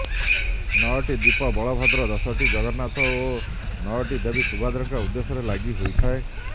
ନଅଟି ଦୀପ ବଳଭଦ୍ର ଦଶଟି ଜଗନ୍ନାଥ ଓ ନଅଟି ଦେବୀ ସୁଭଦ୍ରାଙ୍କ ଉଦ୍ଦେଶ୍ୟରେ ଲାଗିହୋଇଥାଏ